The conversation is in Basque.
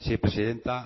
sí presidenta